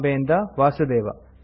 ಬಾಂಬೆ ಇಂದ ವಾಸುದೇವ